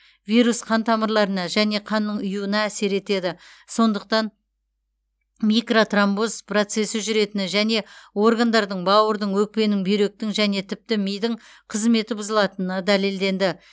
вирус қан тамырларына және қанның ұюына әсер етеді сондықтан микротромбоз процесі жүретіні және органдардың бауырдың өкпенің бүйректің және тіпті мидың қызметі бұзылатыны дәлелденді